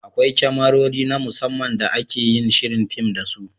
Akwai kyamarori (Cameras) na musamman da ake yin shirin fin da su.